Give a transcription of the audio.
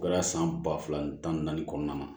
O kɛra san ba fila tan ni naani kɔnɔna na